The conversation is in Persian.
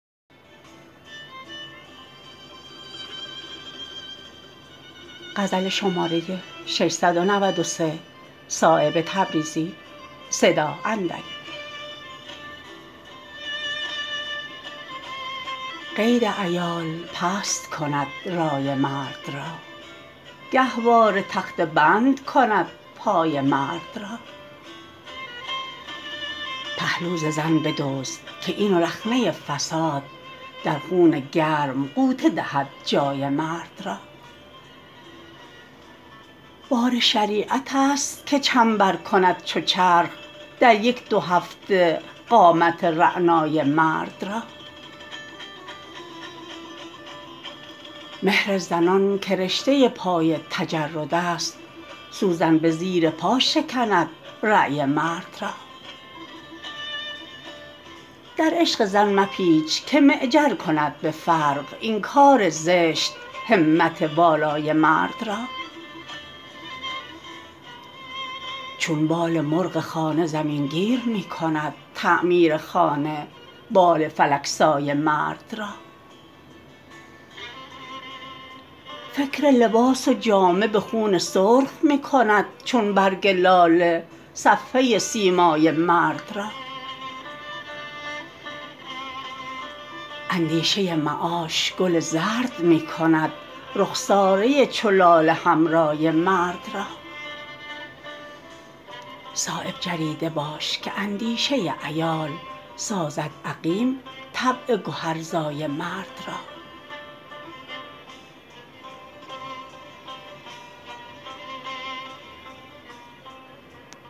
قید عیال پست کند رای مرد را گهواره تخته بند کند پای مرد را پهلو ز زن بدزد که این رخنه فساد در خون گرم غوطه دهد جای مرد را بار شریعت است که چنبر کند چو چرخ در یک دو هفته قامت رعنای مرد را مهر زنان که رشته پای تجردست سوزن به زیر پا شکند رای مرد را در عشق زن مپیچ که معجر کند به فرق این کار زشت همت والای مرد را چون بال مرغ خانه زمین گیر می کند تعمیر خانه بال فلک سای مرد را فکر لباس و جامه به خون سرخ می کند چون برگ لاله صفحه سیمای مرد را اندیشه معاش گل زرد می کند رخساره چو لاله حمرای مرد را صایب جریده باش که اندیشه عیال سازد عقیم طبع گهرزای مرد را